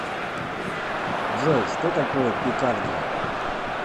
джой что такое пикардия